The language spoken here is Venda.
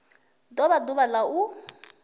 do vha ḓuvha la u